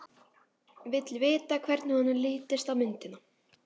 Vill vita hvernig honum lítist á myndina.